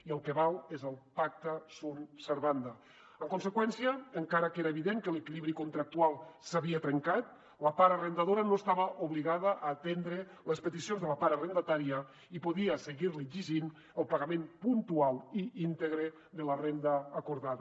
i el que val és el pactaen conseqüència encara que era evident que l’equilibri contractual s’havia trencat la part arrendadora no estava obligada a atendre les peticions de la part arrendatària i podia seguir li exigint el pagament puntual i íntegre de la renda acordada